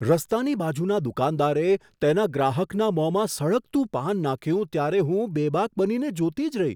રસ્તાની બાજુના દુકાનદારે તેના ગ્રાહકના મોંમાં સળગતું પાન નાખ્યું ત્યારે હું બેબાક બનીને જોતી જ રહી.